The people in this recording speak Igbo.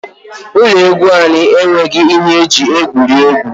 Ụlọ egwu anyị enweghị ihe eji egwuri egwu.